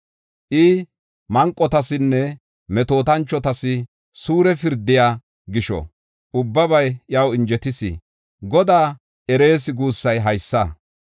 I manqotasinne metootanchotas suure pirdiya gisho, ubbabay iyaw injetis. Godaa erees guussay haysa.